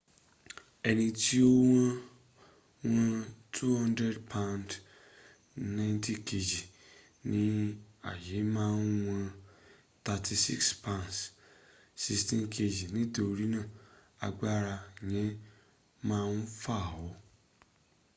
ẹni tí ó wọn 200 pounds 90kg ní ayé ma wọn 36 pounds 16kg. nítorínà agbára yẹn ma fà ọ́